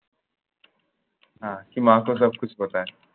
হ্যাঁ কি Hindi মাকো সব কুছ পাতা হে